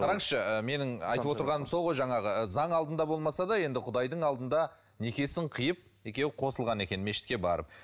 қараңызшы ы менің айтып отырғаным сол ғой жаңағы ы заң алдында болмаса да енді құдайдың алдында некесін қиып екеуі қосылған екен мешітке барып